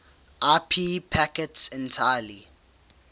ip packets entirely